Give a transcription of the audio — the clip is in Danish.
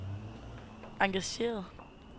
engageret